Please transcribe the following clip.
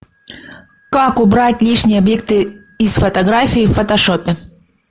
как убрать лишние объекты из фотографии в фотошопе